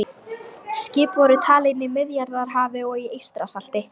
Skip voru talin í Miðjarðarhafi og í Eystrasalti.